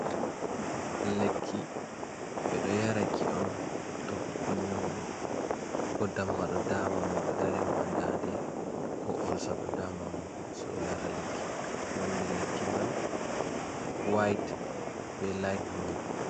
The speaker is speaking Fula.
Lekki. Ɓe ɗo yaraki on to goɗɗo nyauɗo, ko damba ɗo daama mo, ɗo dari mo haa ndaande, ko olsa ɗo daama mo so o yara lekki. Nonde lekki man wayt be layt bulu.